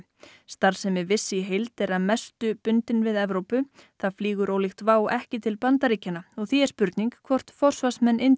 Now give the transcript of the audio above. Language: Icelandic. starfsemi Wizz í heild er að mestu bundin við Evrópu það flýgur ólíkt Wow ekki til Bandaríkjanna og því er spurning hvort forsvarsmenn